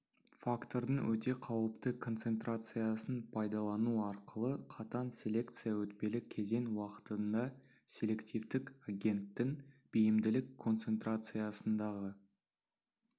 фактордың өте қауіпті концентрациясын пайдалану арқылы қатаң селекция өтпелі кезең уақытында селективтік агенттің бейімділік концентрациясындағы